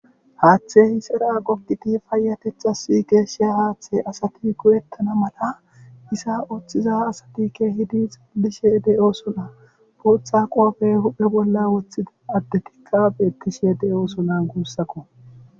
Haaththe hisera gogidi paayatetxas geeshsha haaththe asati go'ettana mala isa ooththiza asatikke hidi xillishe de7o sona puutha qoofey huphe bolla woththida adde tikka beettishe de7osonan guussako